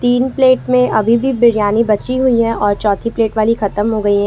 तीन प्लेट में अभी भी बिरयानी बची हुई है और चौथी प्लेट वाली खत्म हो गई है।